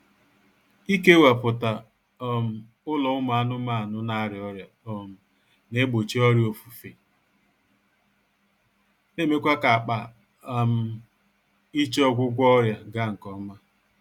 Ikewaputa um ụlọ ụmụ anụmaanụ na-arịa ọrịa um na-egbochi ọrịa ofufe na-emekwa ka-akpa um iche ọgwụgwọ ọrịa gaa nkọma